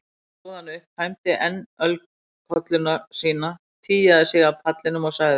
Loks stóð hann upp, tæmdi enn ölkollu sína, tygjaði sig af pallinum og sagði